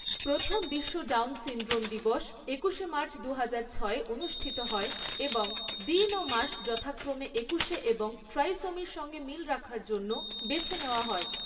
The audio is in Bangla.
প্রথম 'বিশ্ব ডাউন সিনড্রোম দিবস' একুশে মার্চ দুহাজার ছয়ে অনুষ্ঠিত হয় এবং দিন ও মাস যথাক্রমে একুশে এবং ট্রাইসোমির সঙ্গে মিল রাখার জন্য বেছে নেওয়া হয়।